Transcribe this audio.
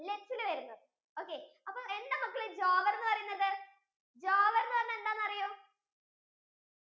വരുന്നത് okay എന്താ മക്കളെ jowar എന്ന് പറയുന്നത് jowar എന്ന് പറഞ്ഞാൽ എന്താന്ന് അറിയോ